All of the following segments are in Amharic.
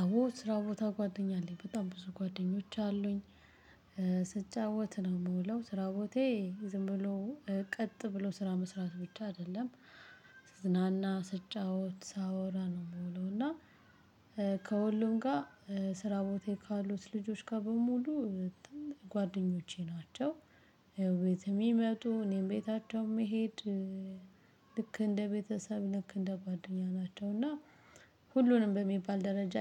አዎ ስራ ቦታ ጓደኛ አለኝ በጣም ብዙ ጓደኞች አሉኝ። ስጫወት ነው የምውለው ስራ ቦታዬ ዝም ብሎ ቀጥ ብሎ ስራ መስራት ብቻ አይደለም። ስዝናና ስጫወት ሳወራ ነው የምውለው። እና ከሁሉም ጋር ስራ ቦታዬ ካሉት ልጆች ጋር በሙሉ ጓደኞቼ ናቸው። ቤትም ይመጡ እኔም ቤታቸውም ምሄድ። ልክ እንደ ቤተሰብ ልክ እንደ ጓደኛ ናቸው። እና ሁሉንም በሚባል ደረጃ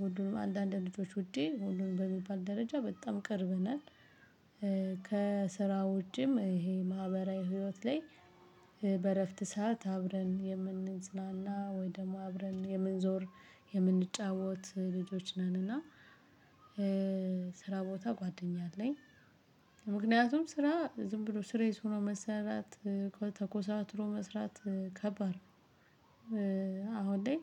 ሁሉንም አንዳንድ ልጆች ውጪ ሁሉንም በሚባል ደረጃ በጣም ቅርብ ነን። ከስራው ውጪም ይሄ ማህበራዊ ህይወት ላይ በእረፍት ሰዓት አብረን የምንዝናና ወይ ደግሞ አብረን የምንዞር የምንጫወት ልጆች ነንና። ስራ ቦታ ጓደኛ አለኝ። ምክንያቱም ስራ ዝም ብሎ ሲርየስ ሆኖ መሰራት ተኮሳትሮ መስራት ከባድ ነው። አሁን ላይ።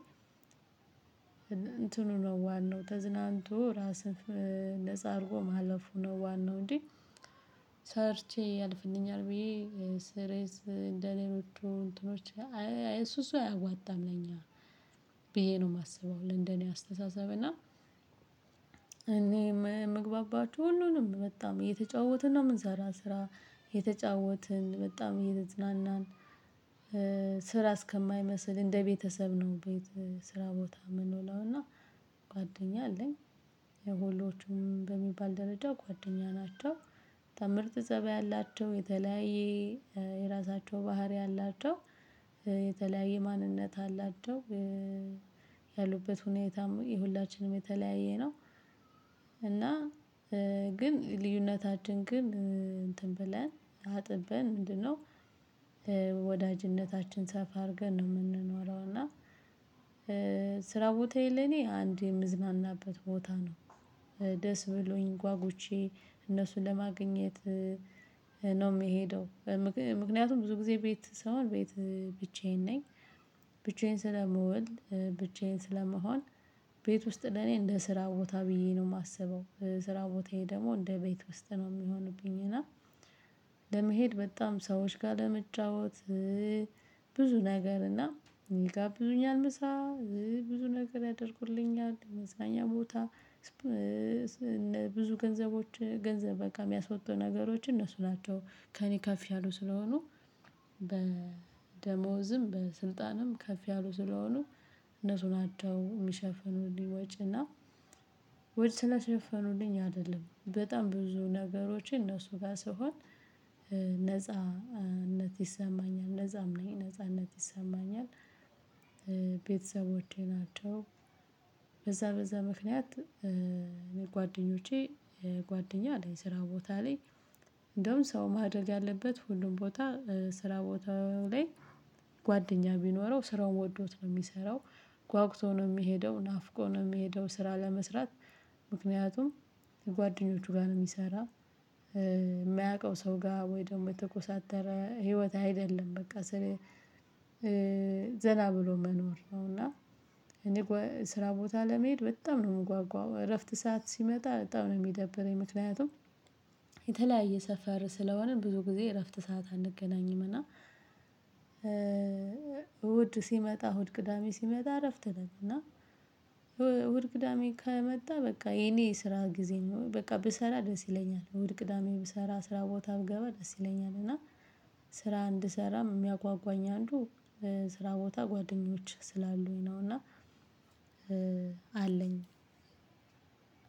እንትኑ ነው ዋናው ተዝናንቶ ራስህን ነፃ አድርጎ ማለፉ ነው። ዋናው እንዴ? ሰርቼ ያልፍልኛል ብዬ ስሪየስ እንደሌሎቹ እንትኖቼ እሱ እሱ አያዋጣም ለኛ። ብዬ ነው የማስበው ለእንደኔ አስተሳሰብና። እኔ የምግባባችሁ ሁሉንም በጣም እየተጫወትን ነው የምንሰራው ስራ የተጫወትን በጣም እየተዝናናን። ስራ እስከማይመስል እንደ ቤተሰብ ነው። ቤት ስራ ቦታ ምንውለው እና ጓደኛ አለኝ። የሁሎቹንም በሚባል ደረጃ ጓደኛ ናቸው። ተ ምርጥ ፀባይ ያላቸው የተለያየ የራሳቸው ባህሪ አላቸው። የተለያየ ማንነት አላቸው። ያሉበት ሁኔታም የሁላችንም የተለያየ ነው። እና ግን ልዩነታችን ግን እንትን ብለን አጥብን ምንድነው? ወዳጅነታችን ሰፋ አድርገን ነው የምንኖረው። እና ስራው ቦታዬ ለኔ አንድ የምዝናናበት ቦታ ነው። ደስ ብሎኝ ጓጉቼ እነሱን ለማግኘት ነው የምሄደው። ምክንያቱም ብዙ ጊዜ ቤት ስሆን ቤት ብቻዬን ነኝ። ብቻዬን ስለመውል ብቻዬን ስለምሆን። ቤት ውስጥ ለኔ እንደ ስራ ቦታ ብዬ ነው የማስበው። ስራ ቦታዬ ደግሞ እንደ ቤት ውስጥ ነው የሚሆንብኝ። እና ለመሄድ በጣም ሰዎች ጋር ለመጫወት ብዙ ነገር እና ይጋብዙኛል ምሳ ብዙ ነገር ያደርጉልኛል መዝናኛ ቦታ። ብዙ ገንዘቦች ገንዘብ በቃ ያሚያስወጡ ነገሮች እነሱ ናቸው ከእኔ ከፍ ያሉ ስለሆኑ። በደሞዝም በስልጣንም ከፍ ያሉ ስለሆኑ። እነሱን ናቸው የሚሸፍኑልኝ ወጪ እና። ወይ ስለሸፈኑልኝ አይደለም በጣም ብዙ ነገሮችን እነሱ ጋር ስሆን። ነጻነት ይሰማኛል ነፃም ነኝ ነጻነት ይሰማኛል። ቤተሰቦቼ ናቸው። በዛ በዛ ምክንያት። ጓደኞቼ ጓደኛ አለኝ ስራ ቦታ ላይ። እንደውም ሰው ማድረግ ያለበት ሁሉም ቦታ ስራ ቦታ ላይ ጓደኛ ቢኖረው ስራውን ወዶት ነው የሚሰራው። ጓጉቶ ነው የሚሄደው ናፍቆ ነው የሚሄደው ስራ ለመስራት። ምክንያቱም ጓደኞቹ ጋር ነው የሚሰራ። የማያውቀው ሰው ጋር ወይ ደግሞ የተኮሳተረ ህይወት አይደለም በቃ ስልህ ዘና ብሎ መኖር ነው። እና እኔ ስራ ቦታ ለመሄድ በጣም ነው የምጓጓው። እረፍት ሰዓት ሲመጣ በጣም ነው የሚደብረኝ። ምክንያቱም የተለያየ ሰፈር ስለሆነ ብዙ ጊዜ እረፍት ሰዓት አንገናኝም እና። እሁድ ሲመጣ እሁድ ቅዳሜ ሲመጣ እረፍት ነን። እና እሁድ ቅዳሜ ከመጣ በቃ የኔ ስራ ጊዜ ነው በቃ ብሰራ ደስ ይለኛል። እሁድ ቅዳሜ ብሰራ ስራ ቦታ ብገባ ደስ ይለኛል። እና ስራ እንድሰራም የሚያጓጓኝ አንዱ ስራ ቦታ ጓደኞች ስላሉኝ ነውና። አለኝ።